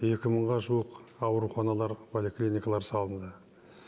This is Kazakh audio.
екі мыңға жуық ауруханалар поликлиникалар салынды